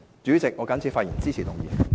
主席，我謹此發言，支持議案。